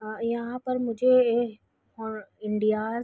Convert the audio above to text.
''अ यहाँ पर मुझे ए फॉर इंडिआस --''